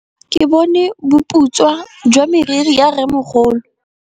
Ke bone boputswa jwa meriri ya rrêmogolo.